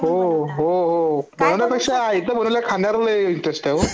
हो हो एकदा बनवलं खानमध्ये लई इंटरेस्ट आहे हो